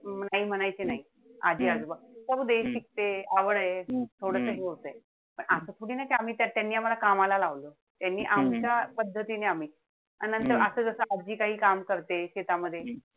आई म्हणायचे नाई. आजी-आजोबा. करू दे, शिकतेय, आवडे, थोडस हे होतंय. असं थोडीना त्यांनी आम्हाला कामाला लावल. त्यांनी आमच्या पद्धतीने आम्ही. आणि नंतर असं जस आजी काही काम करतेय शेतामध्ये,